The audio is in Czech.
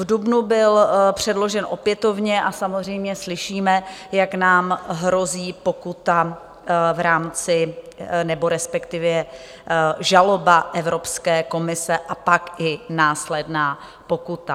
V dubnu byl předložen opětovně a samozřejmě slyšíme, jak nám hrozí pokuta v rámci, nebo respektive žaloba Evropské komise a pak i následná pokuta.